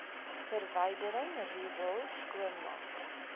verwydering riool skoonmaak